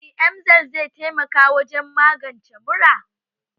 Shin emgyl zai taimaka wajen magance mura?